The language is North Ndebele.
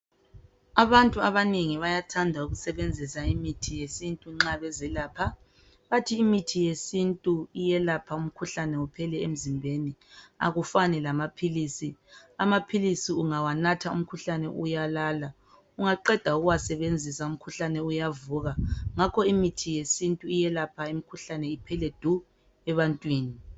Abantu abanengi bayathanda ukusebenzisa imithi yesintu nxa bezelapha. Bathi imithi yesintu iyelapha umkhuhlane uphele emzimbeni akufani lamaphilisi, amaphilisiungawanatha umkhuhlane uyalala ungaqeda uyavuka. ngakho imithi yesintu iyelapha imikhuhlane iphele du ebantwini.